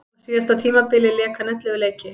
Á síðasta tímabili lék hann ellefu leiki.